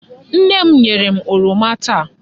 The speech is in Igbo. Nne m nyere m oroma taa.